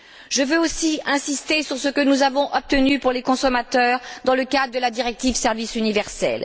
Je veux aussi insister sur ce que nous avons obtenu pour les consommateurs dans le cadre de la directive Service universel.